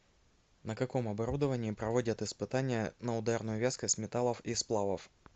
на каком оборудовании проводят испытания на ударную вязкость металлов и сплавов